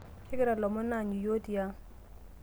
kegira ilomon aanyu iyiok tiang